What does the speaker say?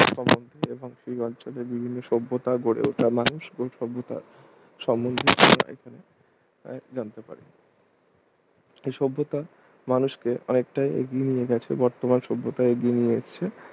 এবং সেই অঞ্চলের বিভিন্ন সভ্যতা গড়ে ওঠা মানুষ কোন সভ্যতা সম্বন্ধে জানতে পারি এই সভ্যতা মানুষকে অনেকটা এগিয়ে নিয়ে গেছে বর্তমান সভ্যতায় এগিয়ে নিয়ে এসেছে